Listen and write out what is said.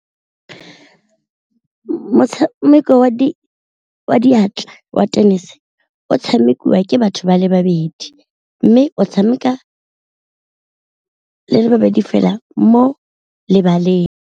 Motshameko wa diatla wa tennis o tshamekiwa ke batho ba le babedi, mme o tshameka le le babedi fela mo lebaleng.